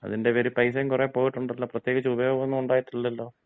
മ്മ്.അതിന്‍റെ പേരി പൈസയും കുറെ പോയിട്ടൊണ്ടല്ലോ. പ്രത്യേകിച്ച് ഉപയോഗമൊന്നുമുണ്ടായിട്ടില്ലല്ലോ.